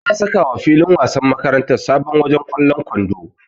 Za'a sakawa filin wasan makarantar sabon wajen ƙwallon kwando.